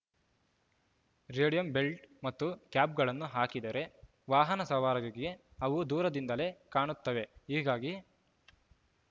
radium belt ಮತ್ತು ಕ್ಯಾಪ್‌ಗಳನ್ನು ಹಾಕಿದರೆ ವಾಹನ ಸವಾರರಿಗೆ ಅವು ದೂರದಿಂದಲೇ ಕಾಣುತ್ತವೆ ಹೀಗಾಗಿ